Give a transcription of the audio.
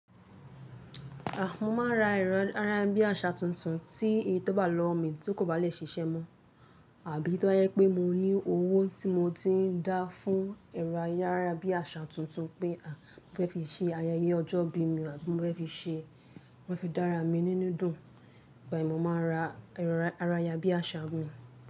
À, mo máa n ra ẹ̀rọ ayárabíàṣá tuntun tí èyí tó wá lọwo mi tó kò bá lè ṣiṣẹ́ mọ, àbí tí ó ba jẹ pé mo ní owó tí mo ti ń dá fún ẹ̀rọ ayárabíàṣá tuntun pé à, mo fẹ́ fi ṣe ayẹyẹ ọjọ́ ìbí mi àbí mo fẹ́ fi ṣe, mo fẹ́ fi dára mi nínú dùn, ìgbà yen ni mo máa n ra ẹ̀rọ ayárabíàṣá mìí.